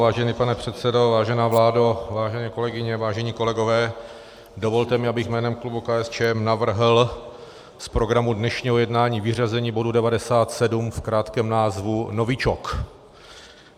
Vážený pane předsedo, vážená vládo, vážené kolegyně, vážení kolegové, dovolte mi, abych jménem klubu KSČ navrhl z programu dnešního jednání vyřazení bodu 97 v krátkém názvu novičok.